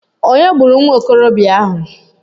Ònye gburu nwa okorobịa ahụ?